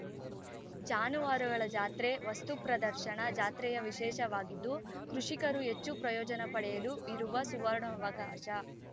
ಜಾನುವಾರುಗಳ ಜಾತ್ರೆ ವಸ್ತು ಪ್ರದರ್ಶನ ಜಾತ್ರೆಯ ವಿಶೇಷವಾಗಿದ್ದು ಕೃಷಿಕರು ಹೆಚ್ಚು ಪ್ರಯೋಜನ ಪಡೆಯಲು ಇರುವ ಸುವರ್ಣಾವಕಾಶ